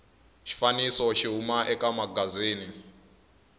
xifaniso xi huma eka magazini